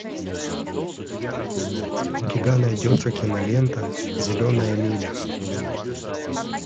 у тебя найдется кинолента зеленая миля